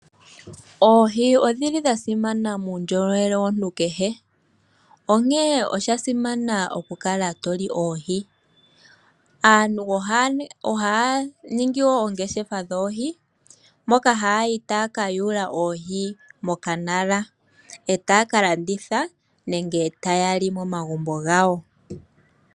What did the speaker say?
Oohi odhili dha simana muundjolowele womuntu kehe onkee osha simana okukala toli oohi . Aantu ohaya ningi oongeshefa dhoohi moka ha yayi taya kayula oohi mokanala, etaya kalanditha nenge tayali momagumbo gawo.